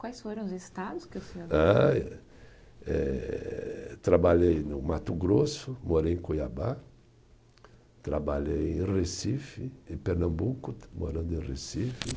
Quais foram os estados que o senhor. Ah eh, eh trabalhei no Mato Grosso, morei em Cuiabá, trabalhei em Recife, em Pernambuco, morando em Recife.